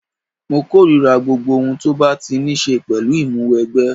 Mo korira gbogbo ohun tó bá ti ní ṣe pẹ̀lú Ìmúwẹgbẹ́